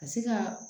Ka se ka